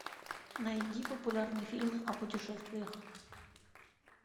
найди популярные фильмы о путешествиях